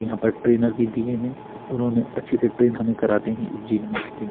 यहाँ पर ट्रेनर भी दिए है उन्होंने अच्छे से ट्रेन हमें कराते है इस जिम में --